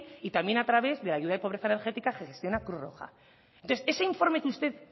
y también a través de la ayuda de pobreza energética que gestiona cruz roja entonces ese informe que usted